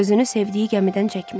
Gözünü sevdiyi gəmidən çəkmir.